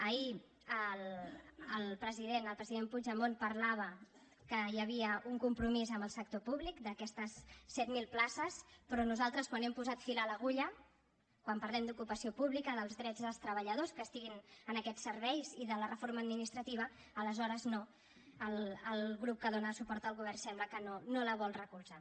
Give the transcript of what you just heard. ahir el president el president puigdemont parlava que hi havia un compromís amb el sector públic d’aquestes set mil places però nosaltres quan hem posat fil a l’agulla quan parlem d’ocupació pública dels drets dels treballadors que estiguin en aquests serveis i de la reforma administrativa aleshores no el grup que dóna suport al govern sembla que no la vol recolzar